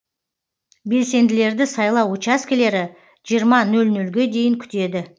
белсенділерді сайлау учаскілері жиырма нөл нөлге дейін күтеді